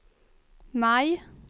maj